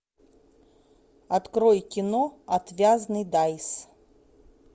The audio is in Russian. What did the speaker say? открой кино отвязный дайс